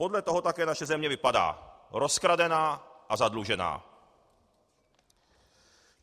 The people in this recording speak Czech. Podle toho také naše země vypadá: rozkradená a zadlužená.